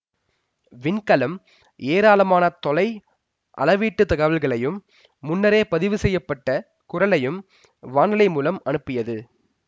விண்கலம் ஏராளமான தொலை அளவீட்டுத் தகவல்களையும் முன்னரே பதிவு செய்ய பட்ட குரலையும் வானலை மூலம் அனுப்பியது